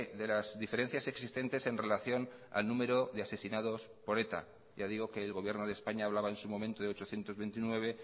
de las diferencias existentes en relación al número de asesinados por eta ya digo que el gobierno de españa hablaba en su momento de ochocientos veintinueve